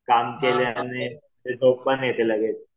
काम केल्याने झोप पण येते लगेच.